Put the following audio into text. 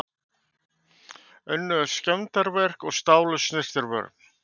Unnu skemmdarverk og stálu snyrtivörum